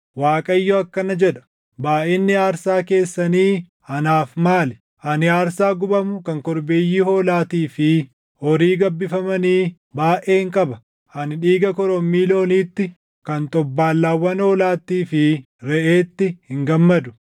Waaqayyo akkana jedha; “Baayʼinni aarsaa keessanii anaaf maali?” Ani aarsaa gubamu kan korbeeyyii hoolaatii fi // horii gabbifamanii baayʼeen qaba; ani dhiiga korommii looniitti, kan xobbaallaawwan hoolaattii fi reʼeetti hin gammadu.